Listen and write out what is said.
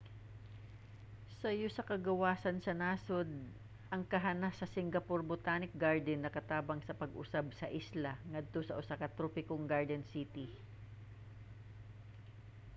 sayo sa kagawasan sa nasod ang kahanas sa singapore botanic garden nakatabang sa pag-usab sa isla ngadto sa usa ka tropikong garden city